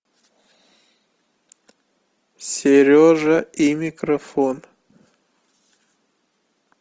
сережа и микрофон